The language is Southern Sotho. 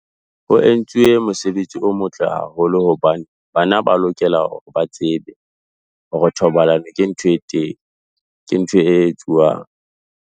Ho entswe mosebetsi o motle haholo hobane, bana ba lokela hore ba tsebe, hore thobalano ke ntho e teng, ke ntho e etsuwang.